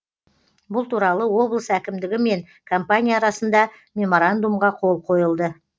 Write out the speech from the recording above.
бұл туралы облыс әкімдігі мен компания арасында меморандумға қол қойылды